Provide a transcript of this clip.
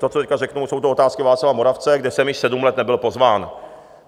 To, co tady řeknu, jsou to Otázky Václava Moravce, kde jsem již sedm let nebyl pozván.